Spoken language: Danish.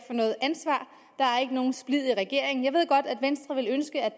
nogen splid i regeringen jeg ved godt at venstre ville ønske at